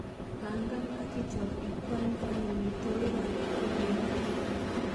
Pangan ak ichop ikwanykwany amitwogik ab ingogenik.